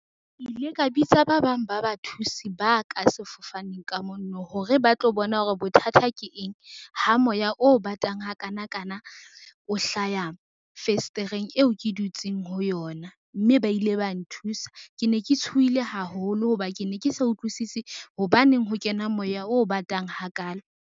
Ke ile ka bitsa ba bang ba bathusi ba ka sefofaneng ka mono hore ba tlo bona hore bothata ke eng, ha moya o batang hakanakana o hlaya fesetereng eo ke dutseng ho yona mme ba ile ba nthusa. Ke ne ke tshohile haholo ho ba ke ne ke sa utlwisisi, hobaneng ho kena moya o batang ha kalo.